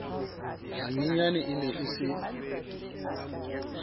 hanyenyane e ne e se